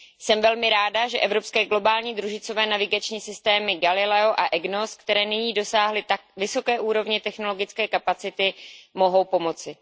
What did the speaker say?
Jsem velmi ráda, že evropské globální družicové navigační systémy Galileo a Egnos, které nyní dosáhly tak vysoké úrovně technologické kapacity, mohou pomoci.